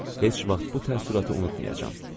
İlahi, heç vaxt bu təəssüratı unutmayacağam.